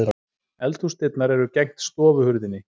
Eldhúsdyrnar eru gegnt stofuhurðinni.